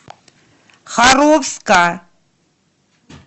харовска